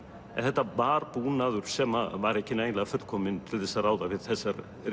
en þetta var búnaður sem var ekki nægilega fullkominn til þess að ráða við þessar